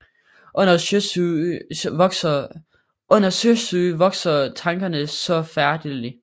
Under Sjøsyge vokser Tankerne saa forfærdelig